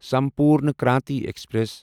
Sampoorna Kranti express